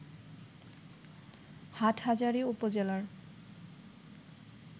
হাটহাজারী উপজেলার